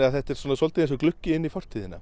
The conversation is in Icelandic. þetta er eins og gluggi inn í fortíðina